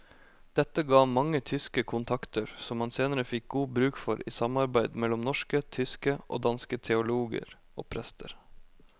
Dette ga ham mange tyske kontakter som han senere fikk god bruk for i samarbeid mellom norske, tyske og danske teologer og prester.